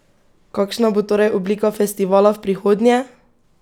Kakšna bo torej oblika festivala v prihodnje?